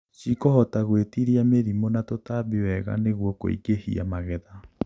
Cikũhota gwĩtiria mĩrimũ na tutambi wega nĩguo kuĩngĩhia magetha